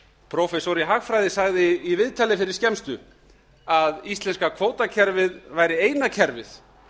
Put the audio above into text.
prófessor í hagfræði sagði í viðtali fyrir skemmstu að íslenska kvótakerfið væri eina kerfið